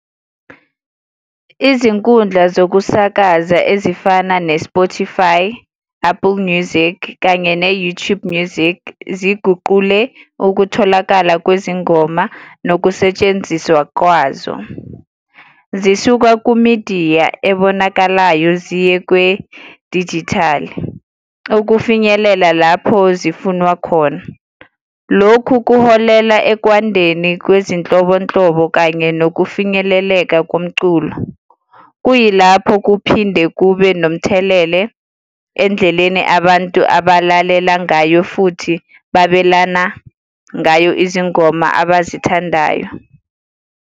Izinkundla zokusakaza ezifana ne-Spotify, Apple Music, kanye ne-YouTube Music, ziguqule ukutholakala kwezingoma nokusetshenziswa kwazo. Zisuka ku-midiya ebonakalayo ziye kwedijithali, ukufinyelela lapho zifunwa khona. Lokhu kuholela ekwandeni kwezinhlobonhlobo kanye nokufinyeleleka komculo. Kuyilapho kuphinde kube nomthelele endleleni abantu abalalela ngayo futhi babelana ngayo izingoma abazithandayo.